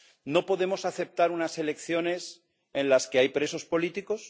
No podemos aceptar unas elecciones en las que hay presos políticos.